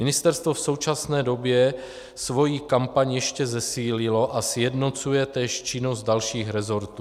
Ministerstvo v současné době svoji kampaň ještě zesílilo a sjednocuje též činnost dalších resortů.